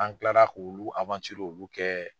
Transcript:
An kilara k'olu olu kɛ.